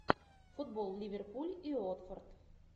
футбол ливерпуль и уотфорд